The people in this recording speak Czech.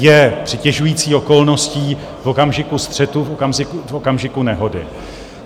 Je přitěžující okolností v okamžiku střetu, v okamžiku nehody.